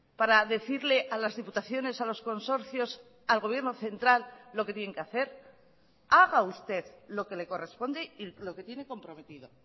para decirle a las diputaciones a los consorcios al gobierno central lo que tienen que hacer haga usted lo que le corresponde y lo que tiene comprometido